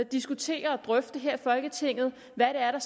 diskutere og drøfte her i folketinget hvad